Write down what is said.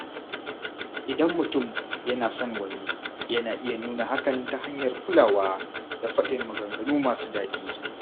Idan mutum yana son wani, yana iya nuna hakan ta hanyar kulawa da faɗin maganganu masu daɗi.